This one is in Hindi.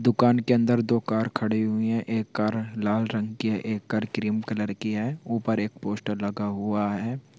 दुकान के अंदर दो कार खड़ी हुई हैं एक लाल रंग की है एक कार क्रीम कलर की है ऊपर एक पोस्टर लगा हुआ है।